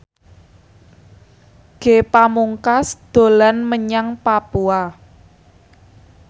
Ge Pamungkas dolan menyang Papua